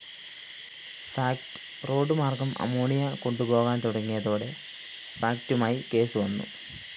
fact റോഡുമാര്‍ഗ്ഗം ammonia കൊണ്ടുപോകാന്‍ തുടങ്ങിയതോടെ ഫാക്ടുമായി കേസ് വന്നു